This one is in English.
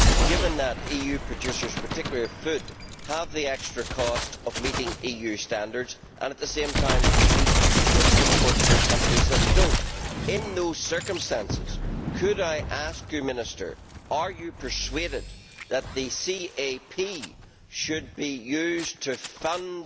Given that EU producers, particularly of food, have the extra costs of meeting EU standards and, at the same time, compete with imports from countries that do not, in those circumstances could I ask you whether you are persuaded that the CAP should be used to fund